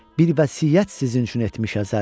Bir vəsiyyət sizinçün etmiş əzəl.